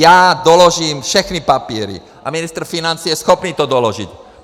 Já doložím všechny papíry a ministr financí je schopný to doložit.